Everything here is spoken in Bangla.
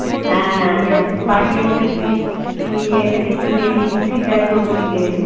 বাড়ি এসে তুই উম ইয়ে কে দেখিয়ে নিয়ে এলি সুশীল রায় চৌধুরীকে